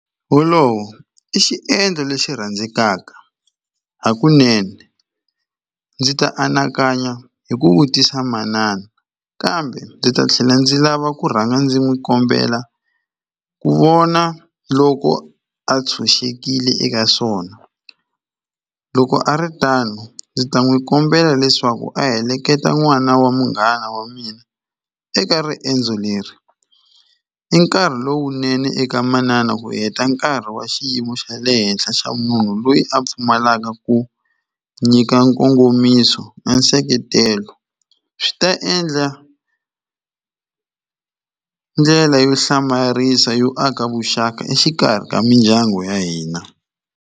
Wolowo i xiendlo lexi rhandzekaka hakunene ndzi ta anakanya hi ku vutisa manana kambe ndzi ta tlhela ndzi lava ku rhanga ndzi n'wi kombela ku vona loko a tshunxekile eka swona loko a ri tano ndzi ta n'wi kombela leswaku a heleketa n'wana wa munghana wa mina eka riendzo leri i nkarhi lowunene eka manana ku heta nkarhi wa xiyimo xa le henhla xa munhu loyi a pfumalaka ku nyika nkongomiso na nseketelo swi ta endla ndlela yo hlamarisa yo aka vuxaka exikarhi ka mindyangu ya hina.